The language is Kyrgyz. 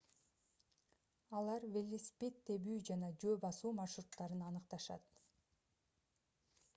алар велосипед тебүү жана жөө басуу маршруттарын аныкташат